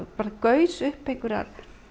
gusu upp einhverjir